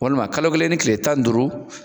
Walima kalo kelen ni tile tan ni duuru